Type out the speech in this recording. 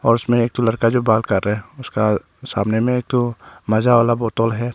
और उसमें एक ठो लड़का जो बाल काट रहा हैं उसका सामने में एक ठो माजा वाला बोतल है।